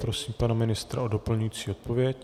Prosím pana ministra o doplňující odpověď.